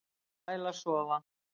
Fer sæl að sofa